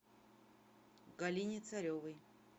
галине царевой